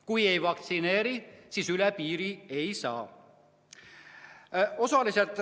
Kui ei vaktsineeri, siis üle piiri ei saa.